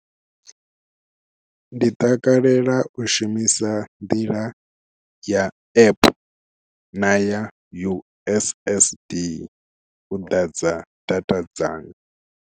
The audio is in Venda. Ndi takalela u shumisa nḓila ya app na ya U_S_S_D u ḓadza data dzanga.